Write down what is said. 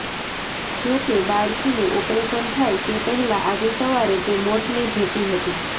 જોકે બાળકીનું ઓપરેશન થાય તે પહેલા આજે સવારે તે મોતને ભેટી હતી